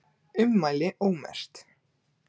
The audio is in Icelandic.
Ummæli ómerkt